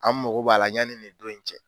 An mago b'a la yanni nin don in cɛ.